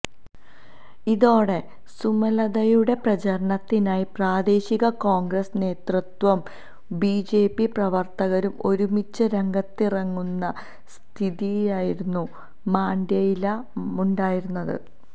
ഇതോടെ സുമലതയുടെ പ്രചരണത്തിനായി പ്രാദേശിക കോണ്ഗ്രസ് നേതൃത്വവും ബിജെപി പ്രവര്ത്തകരും ഒരുമിച്ച് രംഗത്തിറങ്ങുന്ന സ്ഥിതിയായിരുന്നു മാണ്ഡ്യയില് ഉണ്ടായിരുന്നത്